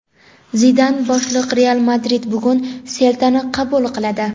Zidan boshliq "Real Madrid" bugun "Selta"ni qabul qiladi.